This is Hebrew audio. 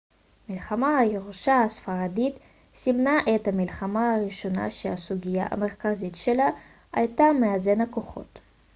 מלחמת הירושה הספרדית סימנה את המלחמה הראשונה שהסוגיה המרכזית שלה הייתה מאזן הכוחות